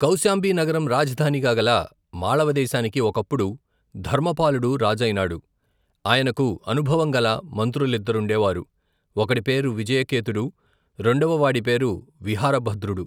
కౌశాంబీనగరం రాజధానిగా గల, మాళవదేశానికి, ఒకప్పుడు, ధర్మపాలుడు రాజయినాడు, ఆయనకు, అనుభవంగల, మంత్రులిద్దరుండేవారు, ఒకడి పేరు, విజయకేతుడు, రెండవ వాడి పేరు, విహారభద్రుడు.